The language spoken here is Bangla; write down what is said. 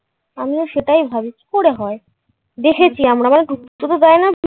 আমিও সেটাই ভাবি কিভাবে হয় দেখেছি মানে আমরা তোকে দেয়না